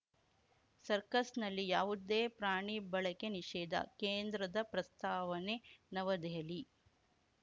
ಸರ್ಕಸ್‌ನಲ್ಲಿ ಯಾವುದೇ ಪ್ರಾಣಿ ಬಳಕೆ ನಿಷೇಧ ಕೇಂದ್ರದ ಪ್ರಸ್ತಾವನೆ ನವದೆಹಲಿ